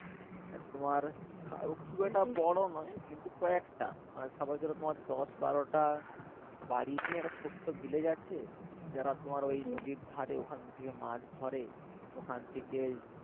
তোমার খুব একটা বড় নয় কিন্তু কয়েকটা মানে ধর তোমার দশ বারোটা বাড়ি নিয়ে একটা ছোট্ট আছে যারা তোমার ঐ নদীর ধারে ওখান থেকে মাছ ধরে ওখান থেকে